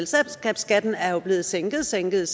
selskabsskatten er jo blevet sænket sænket